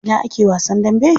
A ina ake wasan dambe?